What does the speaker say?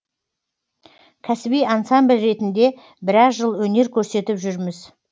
кәсіби ансамбль ретінде біраз жыл өнер көрсетіп жүрміз